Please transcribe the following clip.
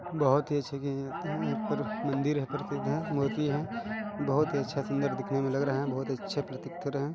बहुत ही अच्छी मंदिर है बहुत अच्छा सिंगर दिखने में लग रहा है बहुत ही अच्छा और प्रतीक लग हैं।